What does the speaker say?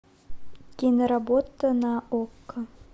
киноработа на окко